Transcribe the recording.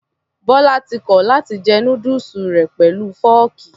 Bọlá ti kọ̀ láti jẹ núdùsù rẹ̀ pẹ̀lú fọ́ọ̀kì.